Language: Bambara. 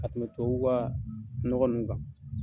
Ka tɛmɛ tubabuw ka nɔgɔ ninnu kan.